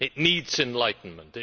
It needs enlightenment.